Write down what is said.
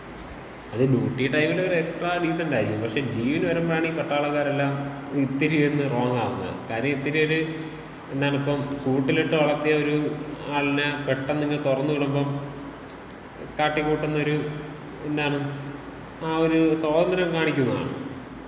അത് ഡ്യൂട്ടി ടൈമില് അവര് എക്സ്ട്രാ ഡീസന്‍റായിരിക്കും. പക്ഷേ ലീവില് വരുമ്പോഴാണീ പട്ടാളക്കാരെല്ലാം ഇത്തരി ഒന്ന് റോങ് ആകുന്നത്. കാര്യം ഇത്തിരി ഒരു എന്താണപ്പം കൂട്ടിലിട്ട് വളർത്തിയ ഒരാളിനെ പെട്ടന്ന് ഇങ്ങ് തുറന്ന് വിടുംബം കാട്ടികൂട്ടുന്ന ഒരു എന്താണത്, ആ ഒരു സ്വാതന്ത്യം കാണിക്കുന്നതാണ്.